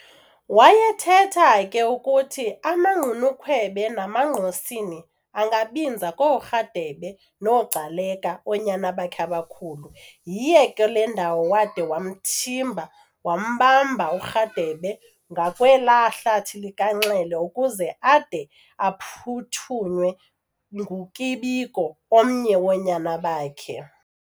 Wayethetha ke ukuthi amaGqunukhwebe namaNgqosini angabinza kooRharhabe noGcaleka, oonyana bakhe abakhulu. Yiyo ke le ndawo wade wamthimba wambamba uRharhabe ngakwelaa hlathi likaNxele, ukuze ade aphuthunywe nguKibiko omnye woonyana bakhe.